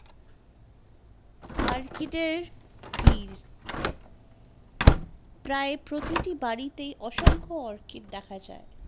আর্কিটের ভিড় প্রায় প্রতিটি বাড়িতে অসংখ্যা অর্কিট দেখা যায়